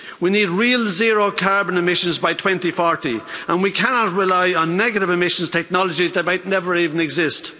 We need real zero carbon emissions by 2040 and we cannot rely on negative emissions technologies that might never even exist.